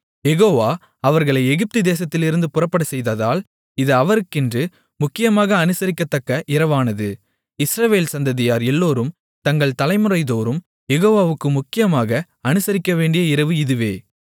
யெகோவா அவர்களை எகிப்து தேசத்திலிருந்து புறப்படச்செய்ததால் இது அவருக்கென்று முக்கியமாக அனுசரிக்கத்தக்க இரவானது இஸ்ரவேல் சந்ததியார் எல்லோரும் தங்கள் தலைமுறைதோறும் யெகோவாவுக்கு முக்கியமாக அனுசரிக்கவேண்டிய இரவு இதுவே